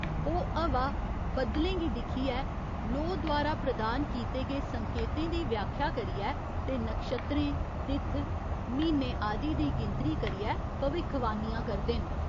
ओह् हवा, बद्दलें गी दिक्खियै, लोऽ द्वारा प्रदान कीते गे संकेतें दी व्याख्या करियै ते नक्षत्रें, तित्थ, म्हीने आदि दी गिनती करियै भविक्खवाणियां करदे न।